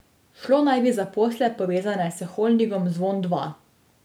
Šlo naj bi za posle povezane s holdingom Zvon Dva.